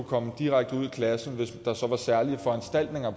komme direkte ud i klassen hvis der så var særlige foranstaltninger